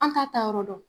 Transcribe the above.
An t'a ta yɔrɔ dɔn